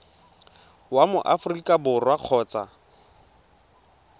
wa mo aforika borwa kgotsa